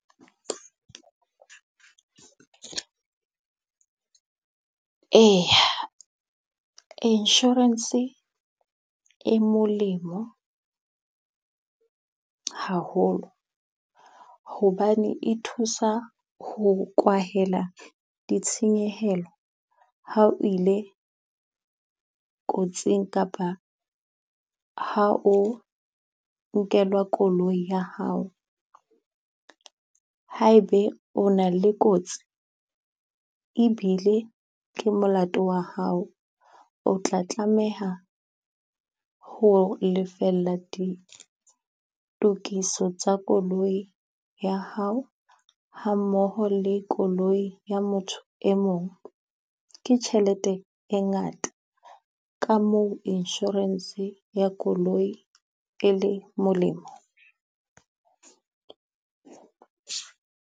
Eya insurance e molemo haholo, hobane e thusa ho kwahela ditshenyehelo. Ha o ile kotsing kapa ha o nkelwa koloi ya hao. Haebe o na le kotsi e bile ke molato wa hao, o tla tlameha ho lefella ditokiso tsa koloi ya hao, ha mmoho le koloi ya motho e mong. Ke tjhelete e ngata ka moo insurance ya koloi e le molemo.